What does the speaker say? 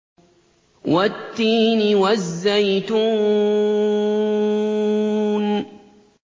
وَالتِّينِ وَالزَّيْتُونِ